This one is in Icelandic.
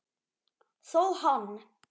Þó hann